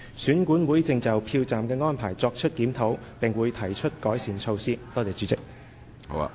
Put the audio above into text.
選管會正就票站的安排作出檢討，並會提出改善措施。